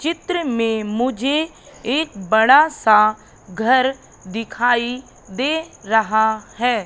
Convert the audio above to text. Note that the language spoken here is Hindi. चित्र में मुझे एक बड़ा सा घर दिखाई दे रहा है।